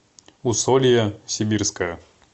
усолье сибирское